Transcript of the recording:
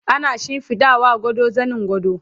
ana shimfiɗawa gado zanin gado